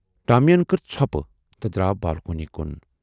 ٹامین کٔر ژھۅپہٕ تہٕ دراو بالکونی کُن۔